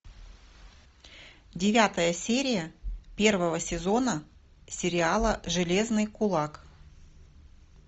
девятая серия первого сезона сериала железный кулак